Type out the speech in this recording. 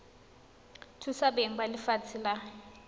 thusa beng ba lefatshe la